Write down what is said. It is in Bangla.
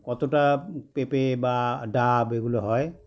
কতটা পেঁপে বা ডাব এগুলো হয়